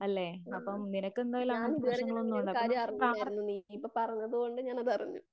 ആ ഞാനിതുവരെ ഇങ്ങനെ ഒരു കാര്യം അറിഞ്ഞില്ലായിരുന്നു. നീ ഇപ്പം പറഞ്ഞതുകൊണ്ട് ഞാനതറിഞ്ഞു.